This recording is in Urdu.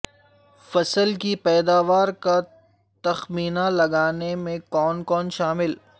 فصل کی پیدوار کا تخمینہ لگانےمیں کون کون شامل